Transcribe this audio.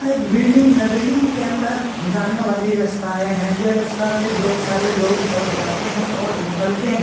यहाँ एक बिल्डिंग हैं बिल्डिंग के अंदर जाने वाली रस्ताए हैं ये रास्ता से ढेर सारे लोग सब जाते हैं और निकलते हैं।